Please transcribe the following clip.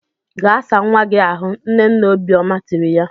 Gaa saa nwanne gị ahụ! Nne nne Obiọma tiri ya.